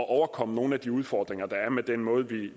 at overkomme nogle af de udfordringer der er med den måde